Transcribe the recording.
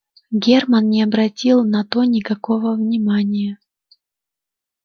германн не обратил на то никакого внимания